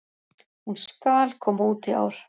Hún SKAL koma út í ár!